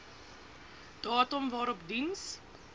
datum waarop diens